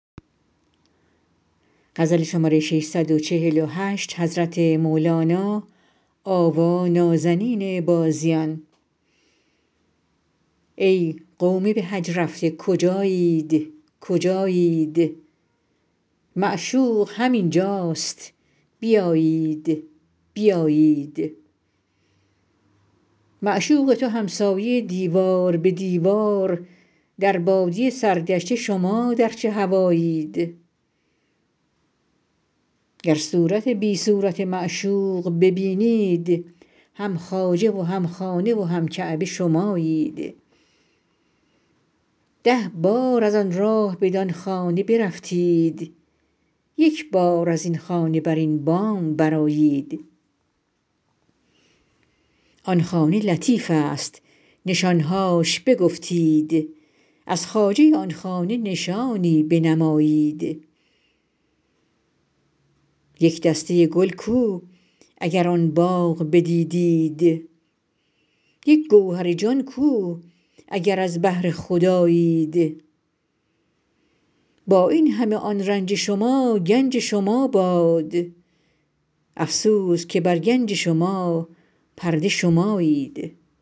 ای قوم به حج رفته کجایید کجایید معشوق همین جاست بیایید بیایید معشوق تو همسایه و دیوار به دیوار در بادیه سرگشته شما در چه هوایید گر صورت بی صورت معشوق ببینید هم خواجه و هم خانه و هم کعبه شمایید ده بار از آن راه بدان خانه برفتید یک بار از این خانه بر این بام برآیید آن خانه لطیفست نشان هاش بگفتید از خواجه آن خانه نشانی بنمایید یک دسته گل کو اگر آن باغ بدیدید یک گوهر جان کو اگر از بحر خدایید با این همه آن رنج شما گنج شما باد افسوس که بر گنج شما پرده شمایید